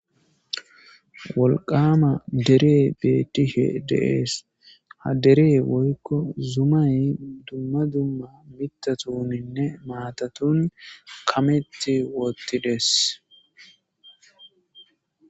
Wolqama dere beetishe deees ha dere woykko zumay dumma dumma mitatuninne maatatun kametti woottides.